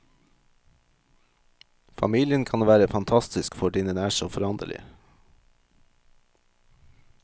Familien kan være fantastisk fordi den er så foranderlig.